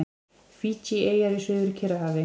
Fídjieyjar í Suður-Kyrrahafi.